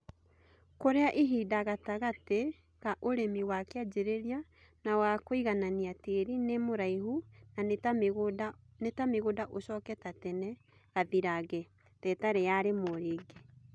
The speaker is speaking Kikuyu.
kũrĩa ihinda gatagatĩ ka ũrĩmi wa kĩanjĩrĩria na wa kũiganania tĩri nĩ mũraihu na nĩta mĩgũnda ũcoke ta tene gathirange, tetarĩ ya rĩmwe rĩngĩ